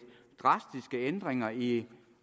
drastiske ændringer i